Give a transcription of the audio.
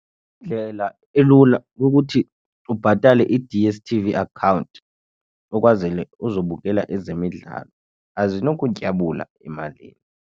Indlela elula yokuthi ubhatale i-D_S_T_V account ukwazele uzobukela ezemidlalo azinokutyabula emalini.